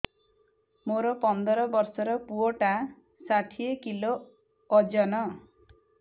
ମୋର ପନ୍ଦର ଵର୍ଷର ପୁଅ ଟା ଷାଠିଏ କିଲୋ ଅଜନ